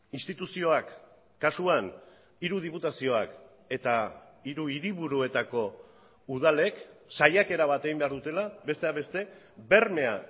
instituzioak kasuan hiru diputazioak eta hiru hiriburuetako udalek saiakera bat egin behar dutela besteak beste bermea